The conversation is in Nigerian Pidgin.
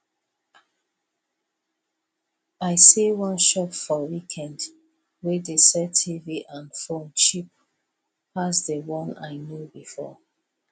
i see one shop for weekend wey dey sell tv and phone cheap pass the one i know before